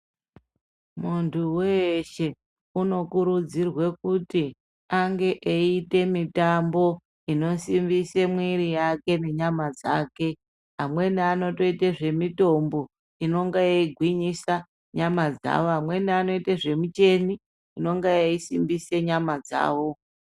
Muntu weshe uno kurudzirwe kuti ange eyiite mitambo ino simbise mwiri yake ne nyama dzake amweni anotoite zve mitombo inonga yei gwinyisa nyama dzavo amweni anoite zve micheni inonga yei simbise nyama dzavo.